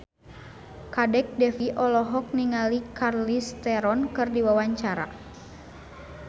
Kadek Devi olohok ningali Charlize Theron keur diwawancara